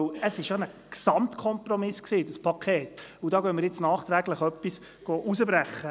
Das Sparpaket war ja ein Gesamtkompromiss, und dort wollen wir nun nachträglich etwas herausbrechen.